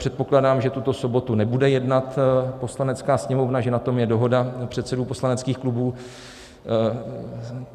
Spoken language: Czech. Předpokládám, že tuto sobotu nebude jednat Poslanecká sněmovna, že na tom je dohoda předsedů poslaneckých klubů.